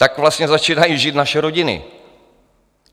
Tak vlastně začínají žít naše rodiny.